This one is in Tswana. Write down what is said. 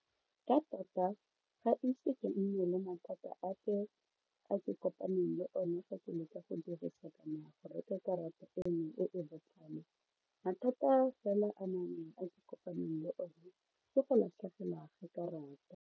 Ka tota ga ise ke nne le mathata ape a ke kopaneng le one fa ke leka go dirisa kana go reka karata eno e e botlhale mathata fela a a ke kopaneng le one ke go latlhegelwa ke karata.